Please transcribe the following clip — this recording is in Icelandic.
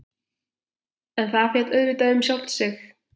En það féll auðvitað um sjálft sig.